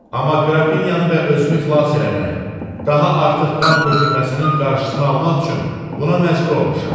Amma qrafinyanı və özümü xilas eləmək, daha artıq qan tökülməsinin qarşısını almaq üçün buna məcbur olmuşam.